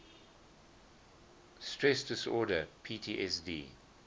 stress disorder ptsd